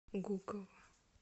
гуково